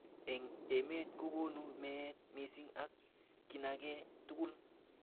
Eng emet kokonu meet missing ak kinage tugul.